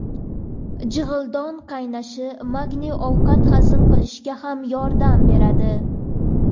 Jig‘ildon qaynashi Magniy ovqat hazm qilishga ham yordam beradi.